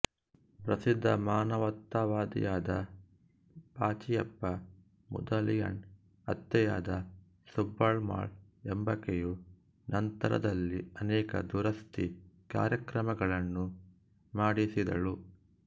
ಪ್ರಸಿದ್ಧ ಮಾನವತಾವಾದಿಯಾದ ಪಾಚಿಯಪ್ಪ ಮುದಲಿಯಾರ್ನ ಅತ್ತೆಯಾದ ಸುಬ್ಬಮ್ಮಾಳ್ ಎಂಬಾಕೆಯು ನಂತರದಲ್ಲಿ ಅನೇಕ ದುರಸ್ತಿ ಕಾರ್ಯಗಳನ್ನು ಮಾಡಿಸಿದಳು